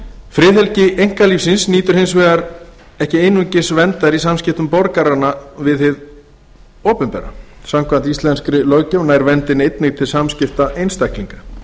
friðhelgi einkalífsins nýtur hins vegar ekki einungis verndar í samskiptum borgaranna við hið opinbera samkvæmt íslenskri löggjöf nær verndin einnig til samskipta einstaklinga